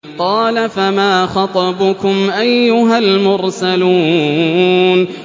۞ قَالَ فَمَا خَطْبُكُمْ أَيُّهَا الْمُرْسَلُونَ